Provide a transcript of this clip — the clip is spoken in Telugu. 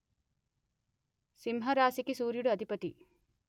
సింహరాశికి సూర్యుడు అధిపతి